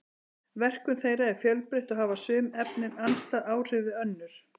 verkun þeirra er fjölbreytt og hafa sum efnin andstæð áhrif við önnur